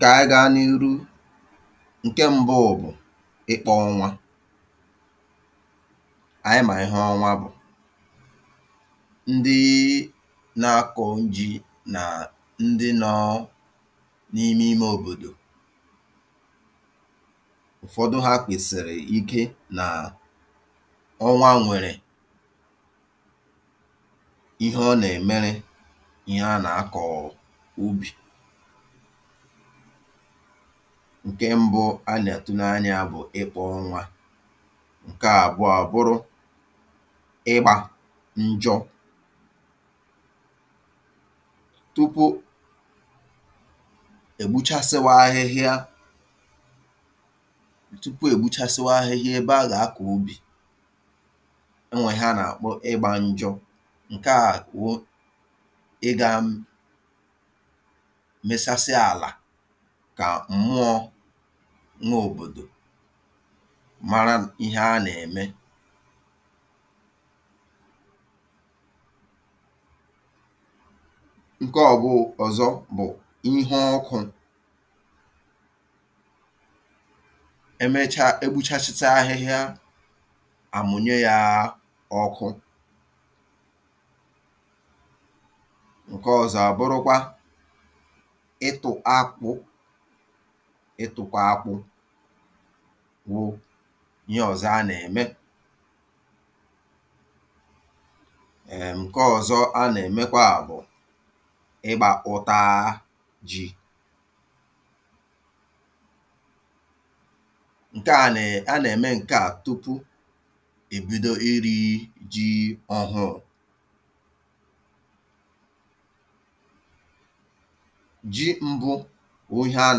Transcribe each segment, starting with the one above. kà ànyị ga n’iru ǹkẹ mbụ bụ̀ ịkpọ̄ ọnwa anyị mà ihe ọnwa bụ̀ ndị na àkọ̄ n ji nà ndị nọọ n’ime ime òbòdò ụ̀fọdụ ha kwèsìrì ike ọnwa nwẹ̀rẹ̀ ihe ọ nà ẹ̀ mẹrẹ ihe a nà akọ̀ọ̀ ubì ǹkẹ mbụ a nà àtụ n’anya ya bụ̀ ịkpọ̄ ọnwā ǹkẹ abụọ bụrụ ị gbā njọ tupu è gbuchasiwa ahịhia tupu è gbuchasiwa ahịhia ẹbẹ a gà akọ̀ ubì ọ nwẹ̀ ihe a nà àkpọ njọ̄ ǹkẹ̀ a wụ ị gā mẹsasịa àlà kà m̀mụọ nwẹ òbòdò mara ihe a nà ẹ̀mẹ̀ ǹkẹ ọ bụ ọ̀zọ bụ̀ ihe ọkụ̀n ẹ mẹcha e gbuchasicha ahịhịa à mụ̀nyẹ ya ọkụ ǹkẹ ọzọ̄ à bụrụkwa ịtụ̄ akpụ̄ ịtụ̀kpọ̀ akpụ̄ bụ̄ ihe ọzọ a nà ẹ̀mẹ è.. ǹkẹ ọzọ a nà ẹ̀mẹkwà bụ̀ ịgbā ụtaa jị̄ ǹkẹ̀ a nà è a nà ẹ̀mẹ ǹkẹ à tupu è bido irī jị ọhụụ jị̄ mbụ wụ ihe a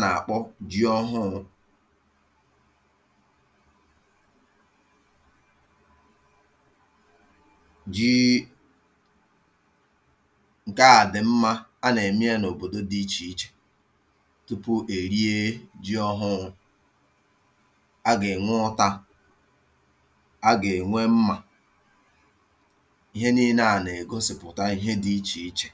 nà àkpọ jị ọhụụ jị̄ị̄ ǹkẹ̀ a dị̀ mmā a nà ẹ̀mẹ yā n’òbòdo dị ichè ichè tupù è rie jị ọhụụ a gà ẹ̀nwẹ ụtā a gà ẹ̀nwẹ mmà ihe nine à nà ègosipùta ihe dị ichè ichè